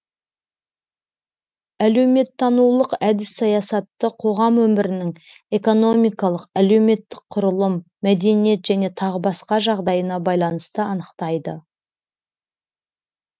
әлеуметтанулық әдіс саясатты қоғам өмірінің экономикалық әлеуметтік құрылым мәдениет және тағы басқа жағдайына байланысты анықтайды